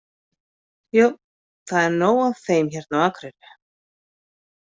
Jú, það er nóg af þeim hérna á Akureyri.